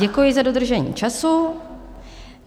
Děkuji za dodržení času.